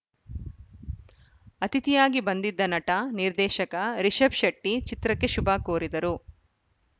ಅತಿಥಿಯಾಗಿ ಬಂದಿದ್ದ ನಟ ನಿರ್ದೇಶಕ ರಿಷಬ್‌ ಶೆಟ್ಟಿಚಿತ್ರಕ್ಕೆ ಶುಭ ಕೋರಿದರು